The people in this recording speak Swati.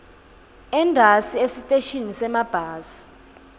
entasi esiteshini semabhasi